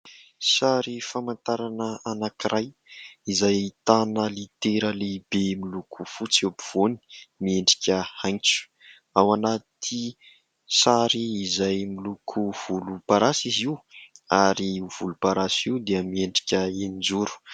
Sary famantarana anankiray izay ahitana litera lehibe miloko fotsy eo ampovoany miendrika "H". Ao anaty sary izay miloko volomparasy izy io ary io volomparasy io dia miendrika eninjoro.